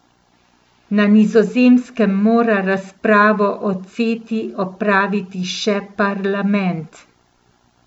Na Nizozemskem mora razpravo o Ceti opraviti še parlament.